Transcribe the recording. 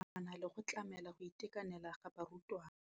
Ya nakwana le go tlamela go itekanela ga barutwana.